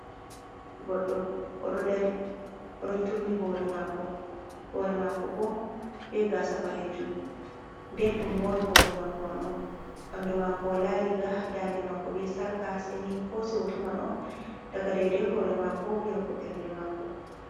Goddo ododrrotturni hore mako bo be gasa balejum den dum mori hore mako man on bandu mako walari ga dande mako be sarka, seni hosi woto man on daga daidai hore mako yahbo bernde mako.